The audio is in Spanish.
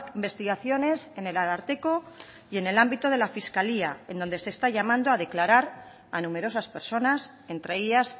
investigaciones en el ararteko y en el ámbito de la fiscalía en donde se está llamando a declarar a numerosas personas entre ellas